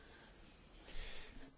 Szanowny Panie Komisarzu!